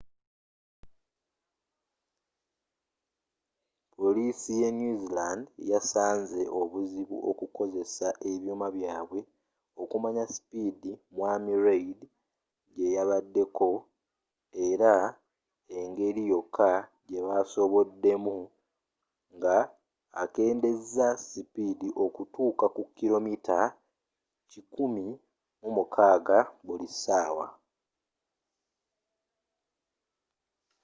polisii ye new zealand yasanzze obuzibu okukozesa ebyuma byabwe okumanyi supidi mwami reid gyeyabaddeko era engeri yoka gyebasoboddemu nga akendezezza supidi okutuka ku kilomita kikumi mu nkagga buli sawa